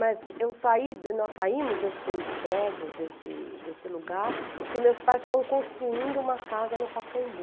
Mas eu saí, nós saímos desse prédio, desse desse lugar, porque meus pais estavam construindo uma casa no Pacaembu.